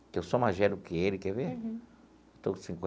Que eu sou mais velho que ele, quer ver? Uhum. Estou com